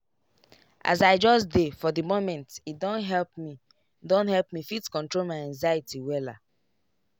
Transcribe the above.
as i just dey for di momente don help me don help me fit control my anxiety wella.